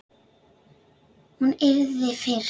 Hún yrði fyrst.